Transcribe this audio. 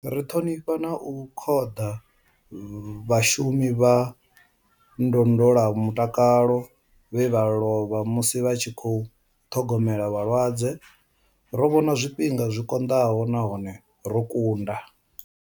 Ri ṱhonifha na u khoḓa vhashumi vha ndondolamutakalo vhe vha lovha musi vha tshi khou ṱhogomela vhalwadze. Ro vhona zwifhinga zwi konḓaho nahone ro kunda.